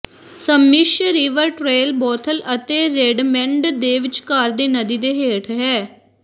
Sammamish river trail Bothell ਅਤੇ Redmond ਦੇ ਵਿਚਕਾਰ ਦੀ ਨਦੀ ਦੇ ਹੇਠ ਹੈ